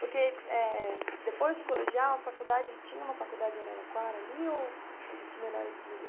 Porque eh depois do colegial, a faculdade, tinha uma faculdade em Araraquara ali ou o destino era esse mesmo?